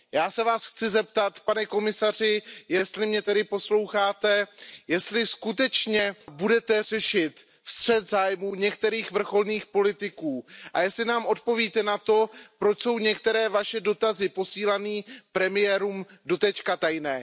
Já se Vás chci zeptat, pane komisaři, jestli mě tedy posloucháte, jestli skutečně budete řešit střet zájmů některých vrcholných politiků a jestli nám odpovíte na to, proč jsou některé Vaše dotazy posílané premiérům doposud tajné.